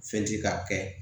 Fɛn ti k'a kɛ